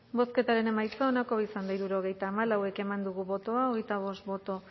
bozketaren emaitza onako izan da hirurogeita hamairu eman dugu bozka hogeita bost boto